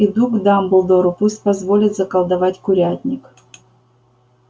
иду к дамблдору пусть позволит заколдовать курятник